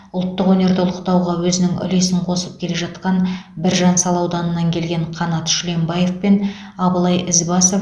ұлттық өнерді ұлықтауға өзінің үлесін қосып келе жатқан біржан сал ауданынан келген қанат шүленбаев пен абылай ізбасов